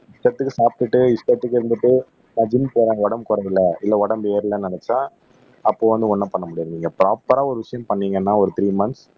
இஷ்டத்துக்கு சாப்பிட்டுட்டு இஷ்டத்துக்கு இருந்துட்டு நா ஜிம் போற உடம்பு குறையலை இல்லை உடம்பு ஏறலைன்னு நினைச்சா அப்போ வந்து ஒண்ணும் பண்ண முடியாது நீங்க ப்ரொபரா ஒரு விஷயம் பண்ணீங்கன்னா ஒரு த்ரீ மந்த்ஸ்